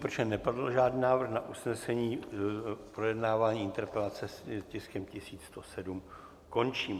Protože nepadl žádný návrh na usnesení, projednávání interpelace s tiskem 1107 končí.